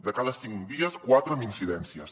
de cada cinc dies quatre amb incidències